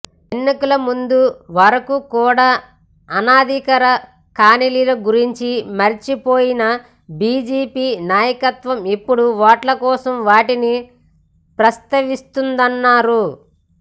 ఎన్నికల ముందు వరకు కూడా అనాధికార కాలనీల గురించి మరచిపోయిన బీజేపీ నాయకత్వం ఇప్పుడు ఓట్ల కోసం వాటిని ప్రస్తావిస్తుందన్నారు